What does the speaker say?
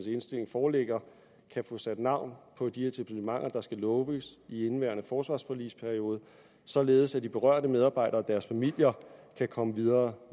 indstilling foreligger kan få sat navn på de etablissementer der skal lukkes i indeværende forsvarsforligsperiode således at de berørte medarbejdere og deres familier kan komme videre